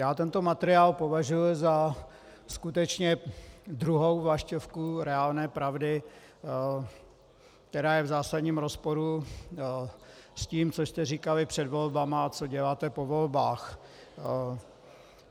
Já tento materiál považuji za skutečně druhou vlaštovku reálné pravdy, která je v zásadním rozporu s tím, co jste říkali před volbami a co děláte po volbách.